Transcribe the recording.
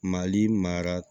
Mali maa